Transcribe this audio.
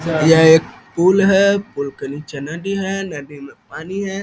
यह एक पुल है पुल के नीचे नदी है नदी में पानी है।